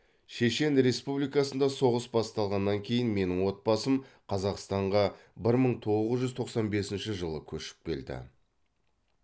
шешен республикасында соғыс басталғаннан кейін менің отбасым қазақстанға бір мың тоғыз жүз тоқсан бесінші жылы көшіп келді